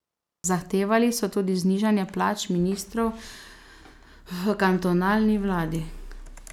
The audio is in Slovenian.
Zahtevali so tudi znižanje plač ministrov v kantonalni vladi.